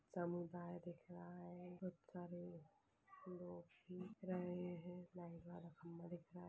समुदाय दिख रहा है इधर खड़े दो दिख रहा है महिला